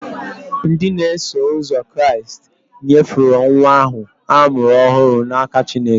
Ndị na-eso ụzọ Kraịst nyefere nwa ahụ a mụrụ ọhụrụ n'aka Chineke.